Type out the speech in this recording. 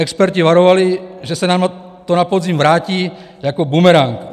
Experti varovali, že se nám to na podzim vrátí jako bumerang.